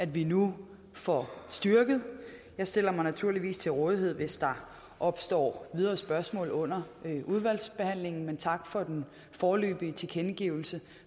vi nu får styrket jeg stiller mig naturligvis til rådighed hvis der opstår videre spørgsmål under udvalgsbehandlingen men tak for den foreløbige tilkendegivelse